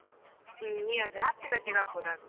ಹ್ಮ್ ಈ ಆದ್ರೆ ಹತ್ತು ಗಂಟೆಗೆ ಆಗಬೋದ ಅಂತ.